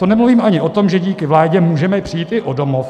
To nemluvím ani o tom, že díky vládě můžeme přijít i o domov.